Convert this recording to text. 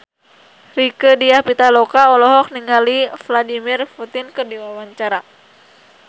Rieke Diah Pitaloka olohok ningali Vladimir Putin keur diwawancara